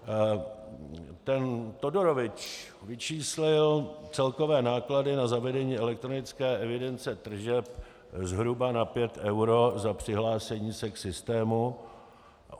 Ten Todorovič vyčíslil celkové náklady na zavedení elektronické evidence tržeb zhruba na pět eur za přihlášení se k systému.